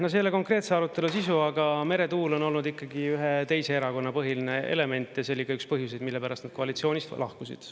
No see ei ole konkreetse arutelu sisu, aga meretuul on olnud ikkagi ühe teise erakonna põhiline element, ja see oli ka üks põhjuseid, mille pärast nad koalitsioonist lahkusid.